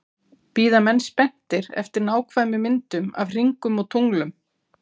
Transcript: Bíða menn spenntir eftir nákvæmum myndum af hringum og tunglum